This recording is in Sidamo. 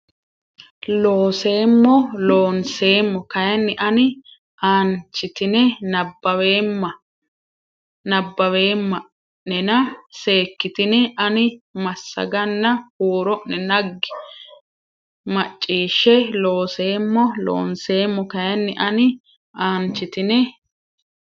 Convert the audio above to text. Looseemmo Loonseemmo kayinni ani aanchitine nabbaweemma o nena seekkitine ani massaganna huuro ne naggi macciishshe Looseemmo Loonseemmo kayinni ani aanchitine.